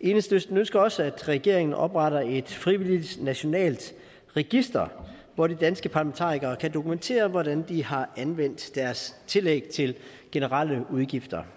enhedslisten ønsker også at regeringen opretter et frivilligt nationalt register hvor de danske parlamentarikere kan dokumentere hvordan de har anvendt deres tillæg til generelle udgifter